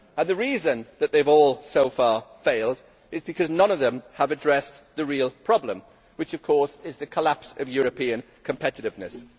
The reason that they have all so far failed is that none of them has addressed the real problem which, of course, is the collapse of European competitiveness.